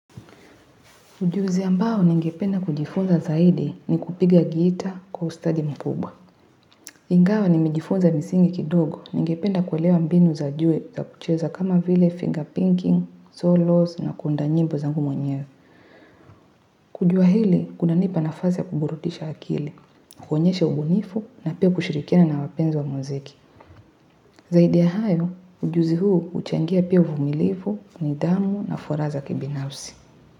Ujuzi ambao ningependa kujifunza zaidi ni kupiga gitaa kwa ustadi mkubwa. Ingawa ni mjifunza misingi kidogo ningependa kuelewa mbinu za juu za kucheza kama vile finger pinking, solos na kuunda nyimbo zangu mwenyewe. Kujua hili, kunanipa nafasi kuburudisha akili, kuonyeshe ubunifu na pia kushirikina na wapenzi wa mziki. Zaidi ya hayo, ujuzi huu uchangia pia uvumilifu nidhamu na furaha za kibinafsi.